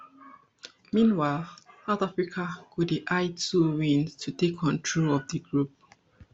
meanwhile south africa go dey eye two wins to take control of di group